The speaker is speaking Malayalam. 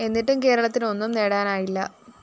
എന്നിട്ടും കേരളത്തിന് ഒന്നും നേടാനായില്ല